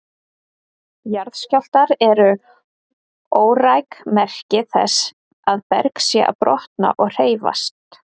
Jarðskjálftar eru óræk merki þess að berg sé að brotna og hreyfast.